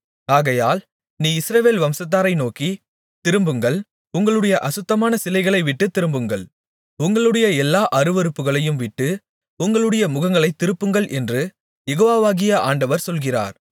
ஆகையால் நீ இஸ்ரவேல் வம்சத்தாரை நோக்கி திரும்புங்கள் உங்களுடைய அசுத்தமான சிலைகளை விட்டுத் திரும்புங்கள் உங்களுடைய எல்லா அருவருப்புகளையும் விட்டு உங்களுடைய முகங்களைத் திருப்புங்கள் என்று யெகோவாகிய ஆண்டவர் சொல்கிறார்